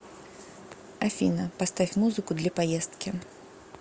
афина поставь музыку для поездки